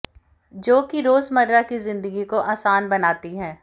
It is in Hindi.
जो कि रोजमर्रा की जिंदगी को आसान बनाती है